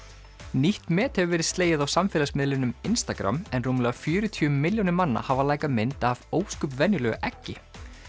nýtt met hefur verið slegið á samfélagsmiðlinum Instagram en rúmlega fjörutíu milljónir manna hafa mynd af ósköp venjulegu eggi